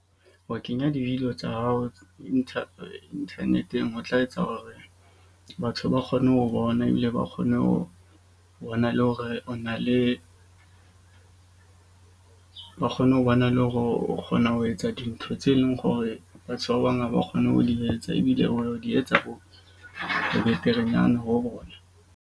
Ho kenya di-video tsa hao internet-eng ho tla etsa hore batho ba kgone ho bona. Ebile ba kgone ho bona, le hore o na le, ba kgone ho bona le hore o kgona ho etsa dintho tse leng gore, batho ba bang ha ba kgone ho di etsa. Ebile o di etsa bo beterenyana ho bona.